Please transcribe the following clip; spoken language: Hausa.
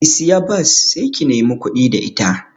Ki siya bas sai ki nemi kuɗi da ita